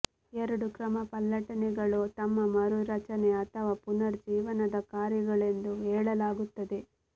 ಎರಡು ಕ್ರಮಪಲ್ಲಟನೆಗಳು ತಮ್ಮ ಮರುರಚನೆ ಅಥವಾ ಪುನರ್ ಜೀವನದದ ಕಾರ್ಯಗಳೆಂದು ಹೇಳಲಾಗುತ್ತದೆ